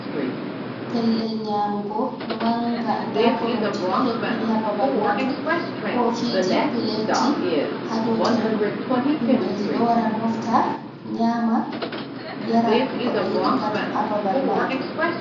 Pellel nyamugo maanga. Nɗa koronje ɗo hebbini ha bbabal majum kofiji peletji ha dau tebol. Himbeji ɗo wara mofta nyama, yara ko be yidi pat ha babal majum.